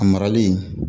A marali